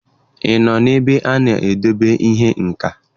Ị nọ n'ebe a na-edebe ihe nka?